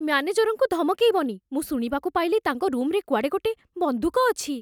ମ୍ୟାନେଜରଙ୍କୁ ଧମକେଇବନି । ମୁଁ ଶୁଣିବାକୁ ପାଇଲି ତାଙ୍କ ରୁମ୍‌ରେ କୁଆଡ଼େ ଗୋଟେ ବନ୍ଧୁକ ଅଛି ।